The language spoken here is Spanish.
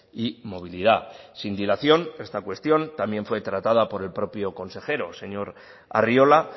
y movilidad sin dilación esta cuestión también fue tratada por el propio consejero señor arriola